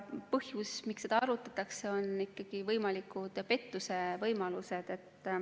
Põhjus, miks seda arutatakse, on ikkagi petmise võimalus.